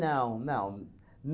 não.